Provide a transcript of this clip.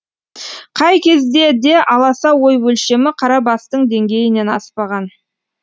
қай кезде де аласа ой өлшемі қара бастың деңгейінен аспаған